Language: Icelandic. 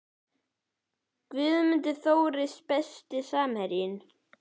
Guðmann Þóris Besti samherjinn?